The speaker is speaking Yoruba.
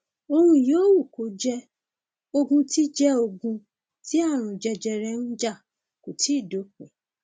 ohun yòówù kó jẹ ogun tí jẹ ogun tí ààrùn jẹjẹrẹ ń jà kò tíì dópin